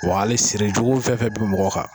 Wa hali siri jugu fɛnfɛn bi mɔgɔ kan.